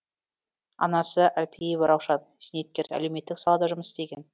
анасы әлпиева раушан зейнеткер әлеуметтік салада жұмыс істеген